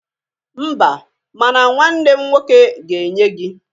Mba, ma na nwanne m nwoke ga-enye gị.